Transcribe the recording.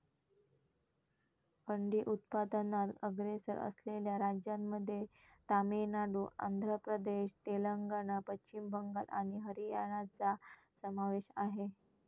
अंडी उत्पादनात अग्रेसर असलेल्या राज्यांमध्ये तामिळनाडू, आंध्र प्रदेश, तेलंगणा, पश्चिम बंगाल आणि हरियाणाचा समावेश आहे.